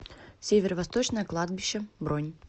северо восточное кладбище бронь